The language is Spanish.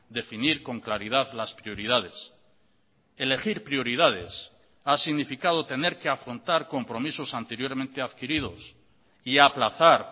definir con claridad las prioridades elegir prioridades ha significado tener que afrontar compromisos anteriormente adquiridos y aplazar